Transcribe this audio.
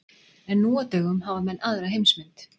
En nú á dögum hafa menn aðra heimsmynd.